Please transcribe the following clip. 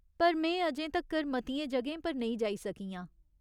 पर में अजें तक्कर मतियें जगहें पर नेईं जाई सकी आं।